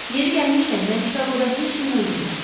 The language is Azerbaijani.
Yeri gəlmişkən, mən Çikaqoda heç kimi öldürməmişəm.